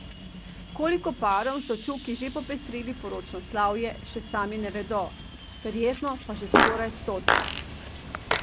Koliko parom so Čuki že popestrili poročno slavje, še sami ne vedo, verjetno pa že skoraj stotim.